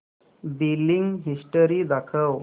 billing history दाखव